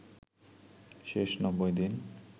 শেষ ৯০ দিন